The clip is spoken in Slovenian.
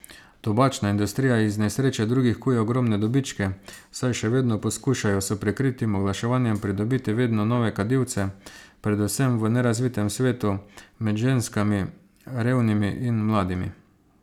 Tobačna industrija iz nesreče drugih kuje ogromne dobičke, saj še vedno poskušajo s prikritim oglaševanjem pridobiti vedno nove kadilce, predvsem v nerazvitem svetu, med ženskami, revnimi in mladimi.